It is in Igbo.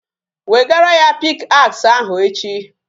Wegara ya pick axe ahu echi